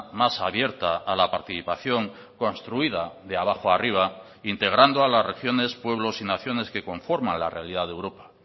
más abierta a la participación construida de abajo arriba integrando a las regiones pueblos y naciones que conforman la realidad de europa